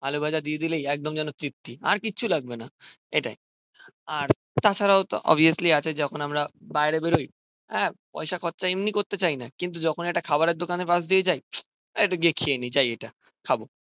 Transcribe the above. আলু ভাজা দিয়ে দিলেই একদম যেন তৃপ্তি. আর কিচ্ছু লাগবে না এটাই. আর তাছাড়াও তো অভিয়াস্লি আছে যখন আমরা বাইরে বেরোই. হ্যাঁ. পয়সা খরচা এমনি করতে চাই না. কিন্তু যখন একটা খাবারের দোকানে পাশ দিয়ে যাই. আর একটু গিয়ে খেয়ে নি যাই এটা. খাবো